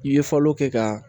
I ye falo kɛ ka